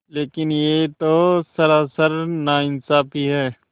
लेकिन यह तो सरासर नाइंसाफ़ी है